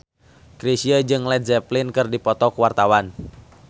Chrisye jeung Led Zeppelin keur dipoto ku wartawan